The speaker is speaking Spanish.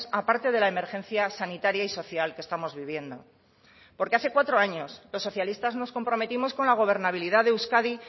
aparte de la emergencia sanitaria y social que estamos viviendo porque hace cuatro años los socialistas nos comprometimos con la gobernabilidad de euskadi